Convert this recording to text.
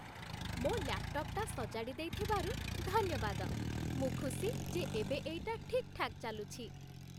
ମୋ' ଲ୍ୟାପ୍‌ଟପ୍ ସଜାଡ଼ି ଦେଇଥିବାରୁ ଧନ୍ୟବାଦ । ମୁଁ ଖୁସି ଯେ ଏବେ ଏଇଟା ଠିକ୍‌ଠାକ୍ ଚାଲୁଛି ।